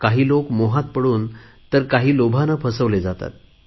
काही लोक मोहात पडून तर काही लोभाने फसवले जातात